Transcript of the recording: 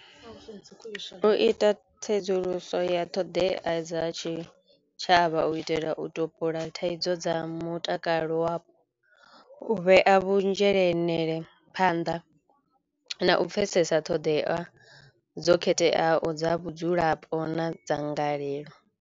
U ita tsedzuluso ya ṱhoḓea dza tshi tshavha u itela u topola thaidzo dza mutakalo wavho, u vhea vhu phanḓa na u pfhesesa ṱhoḓea dzo khetheaho dza vhudzulapo na dzangalelo.